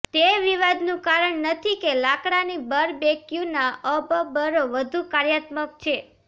તે વિવાદનું કારણ નથી કે લાકડાની બરબેકયુના અબબરો વધુ કાર્યાત્મક છે